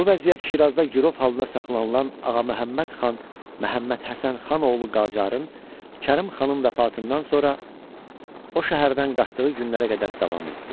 Bu vəziyyət Şirazda girov halına saxlanılan Ağaməhəmməd xan Məhəmmədhəsən xan oğlu Qacarın Kərim xanın vəfatından sonra o şəhərdən qaçdığı günlərə qədər davam etdi.